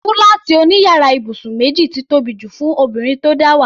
Fúláàtì òní yàrá ibùsùn méjì ti tóbi jù fún obìnrin tó dáwà.